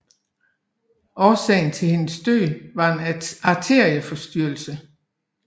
Årsagen til hendes død var en arterieforstyrrelse